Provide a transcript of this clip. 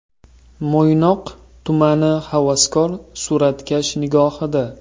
Mo‘ynoq tumani havaskor suratkash nigohida.